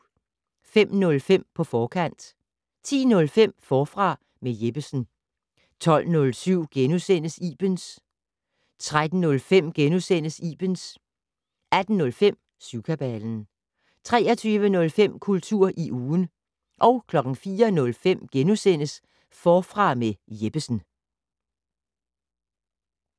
05:05: På forkant 10:05: Forfra med Jeppesen 12:07: Ibens * 13:05: Ibens * 18:05: Syvkabalen 23:05: Kultur i ugen 04:05: Forfra med Jeppesen *